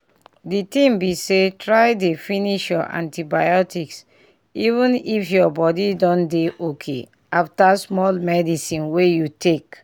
di tin be say try dey finish your antibiotics even if your body don dey okay after small medicine wey you take